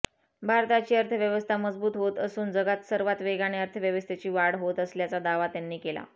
भारताची अर्थव्यवस्था मजबूत होत असून जगात सर्वात वेगाने अर्थव्यवस्थेची वाढ होत असल्याचा दावा त्यांनी केला